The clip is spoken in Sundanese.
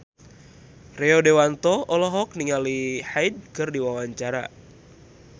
Rio Dewanto olohok ningali Hyde keur diwawancara